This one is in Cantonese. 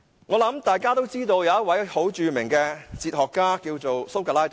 我相信大家都知道，有一位著名的哲學家叫蘇格拉底。